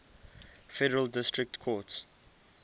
federal district courts